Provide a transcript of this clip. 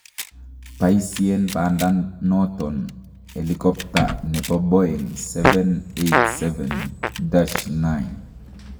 paisien pandaton elikopta nepo Boeng 787-9